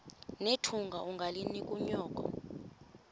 nethunga ungalinik unyoko